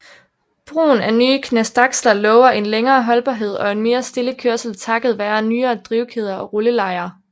Brugen af nye knastaksler lover en længere holdbarhed og en mere stille kørsel takket være nyere drivkæder og rullelejer